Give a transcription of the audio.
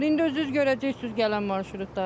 İndi özünüz görəcəksiz gələn marşrutları.